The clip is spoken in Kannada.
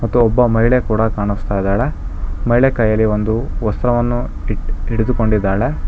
ಮತ್ತು ಒಬ್ಬ ಮಹಿಳೆ ಕೂಡ ಕಾಣಿಸ್ತಾ ಇದ್ದಾಳೆ ಮಹಿಳೆ ಕೈಯಲ್ಲಿ ಒಂದು ವಸ್ತ್ರವನ್ನು ಹಿಡಿದುಕೊಂಡಿದ್ದಾಳೆ.